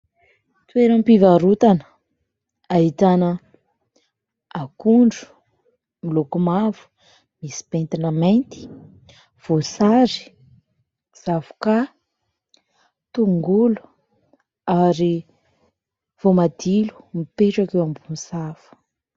Toeram-pivarotana ahitana : akondro miloko mavo misy pentina mainty, voasary zavoka, tongolo ary voamadilo mipetraka eo ambony sahafa.